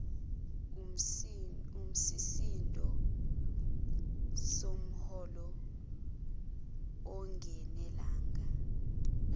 yisisindo somholo ungenelanga